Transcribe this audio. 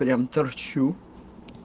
прям торчу